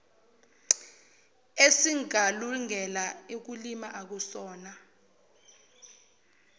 esingalungele ukulima akusona